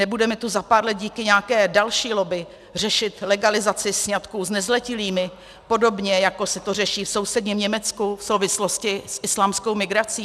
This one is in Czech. Nebudeme tu za pár let díky nějaké další lobby řešit legalizaci sňatků s nezletilými, podobně jako se to řeší v sousedním Německu v souvislosti s islámskou migrací?